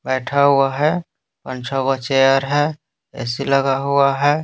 बैठा हुआ है उछा हुआ चेयर है ऐसी लगा हुआ है।